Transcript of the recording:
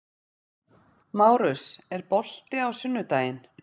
Márus, er bolti á sunnudaginn?